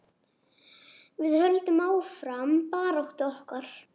Við höldum áfram baráttu okkar.